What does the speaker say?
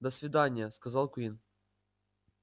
до свидания сказал куинн